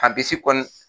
A bi se kɔlɔn